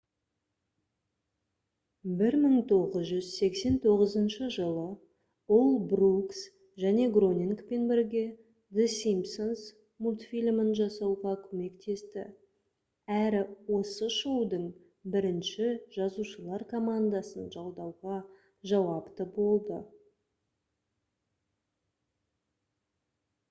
1989 жылы ол брукс және гронингпен бірге the simpsons мультфильмін жасауға көмектесті әрі осы шоудың бірінші жазушылар командасын жалдауға жауапты болды